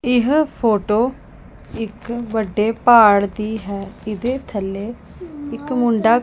ਇਹ ਫੋਟੋ ਇਕ ਵੱਡੇ ਪਹਾੜ ਦੀ ਹੈ ਇਹਦੇ ਥੱਲੇ ਇੱਕ ਮੁੰਡਾ --